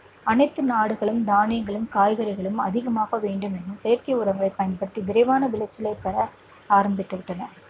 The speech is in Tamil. அனைத்து நாடுகளும் தானியங்களும் காய்கறிகளும் அதிகமாக வேண்டும் என செயற்கை உரங்களை பயன்படுத்தி விரைவான விளைச்சலை பெற ஆரம்பித்து விட்டன